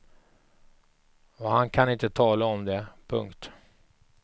Och han kan inte tala om det. punkt